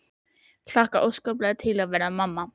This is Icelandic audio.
Hlakkaði óskaplega til að verða mamma.